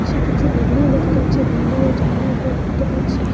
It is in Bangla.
কিছু বিল্ডিং দেখা যাচ্ছে বিল্ডিংয়ের জানালাগুলো দেখতে পাচ্ছি।